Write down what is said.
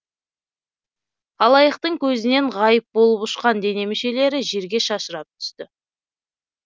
халайықтың көзінен ғайып болып ұшқан дене мүшелері жерге шашырап түсті